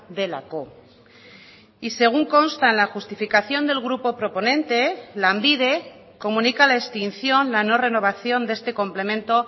delako y según consta en la justificación del grupo proponente lanbide comunica la extinción la no renovación de este complemento